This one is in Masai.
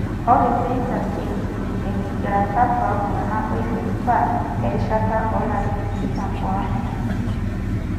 ore seizures eikiti enkigilata tooltung'anak oiterutua erishata oolaritin tikitam oartam.